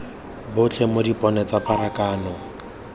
botlhe mo dipone tsa pharakano